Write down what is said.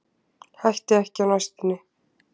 Hætti ekki á næstunni